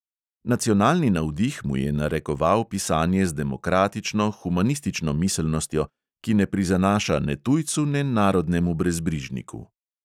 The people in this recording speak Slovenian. Nacionalni navdih mu je narekoval pisanje z demokratično, humanistično miselnostjo, ki ne prizanaša ne tujcu ne narodnemu brezbrižniku.